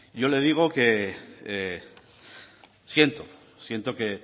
yo le digo que siento siento que